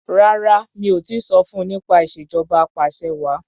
Rárá mi ò tíì sọ fun nípa ìṣèjọba apàṣẹwàá.